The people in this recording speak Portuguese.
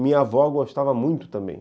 Minha avó gostava muito também.